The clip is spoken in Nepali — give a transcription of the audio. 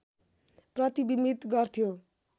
प्रतिबिम्बित गर्थ्यो